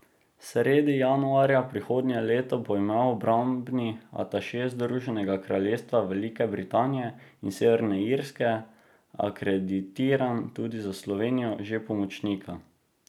Sredi januarja prihodnje leto bo imel obrambni ataše Združenega kraljestva Velike Britanije in Severne Irske, akreditiran tudi za Slovenijo, že pomočnika.